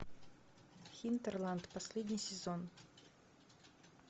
хинтерланд последний сезон